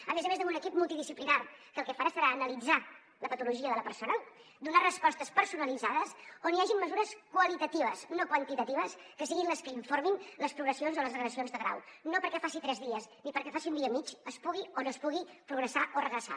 a més a més d’un equip multidisciplinari que el que farà serà analitzar la patologia de la persona donar respostes personalitzades on hi hagin mesures qualitatives no quantitatives que siguin les que informin les progressions o les regressions de grau no perquè faci tres dies ni perquè faci un dia i mig es pugui o no es pugui progressar o regressar